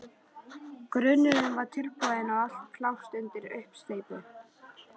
Grunnurinn var tilbúinn og allt klárt undir uppsteypu.